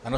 Ano.